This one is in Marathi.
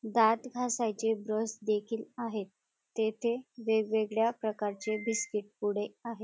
दांत घासायचे ब्रश देखील आहेत तेथे वेगवेगळ्या प्रकारची बीस्किट पुडे आहेत.